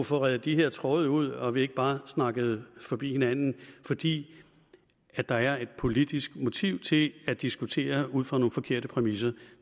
få redt de her tråde ud så vi ikke bare snakker forbi hinanden fordi der er et politisk motiv til at diskutere ud fra nogle forkerte præmisser